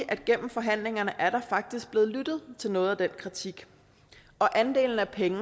at gennem forhandlingerne er der faktisk blevet lyttet til noget af den kritik andelen af penge